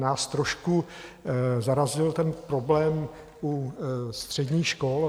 Nás trošku zarazil ten problém u středních škol.